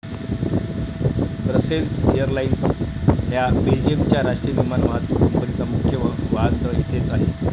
Brussels Airlines ह्या बेल्जियमच्या राष्ट्रीय विमान वाहतूक कंपनीचा मुख्य वाहनतळ येथेच आहे.